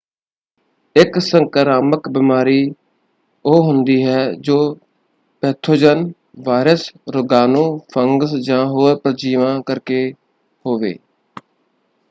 ਇੱਕ ਸੰਕਰਾਮਕ ਬਿਮਾਰੀ ਉਹ ਹੁੰਦੀ ਹੈ ਜੋ ਪੈਥੋਜਨ ਵਾਇਰਸ ਰੋਗਾਣੂ ਫੰਗਸ ਜਾਂ ਹੋਰ ਪਰਜੀਵਾਂ ਕਰਕੇ ਹੋਵੇ।